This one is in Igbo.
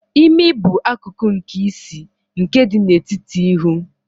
Imi bụ akụkụ nke isi, nke dị n'etiti ihu.